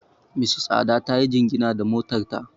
Mrs Ada ta yi jingina da motar ta.